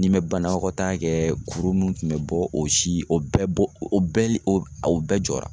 N'i me banakɔtaa kɛ kuru mun kun be bɔ o si o bɛɛ be o bɛɛ o bɛɛ jɔra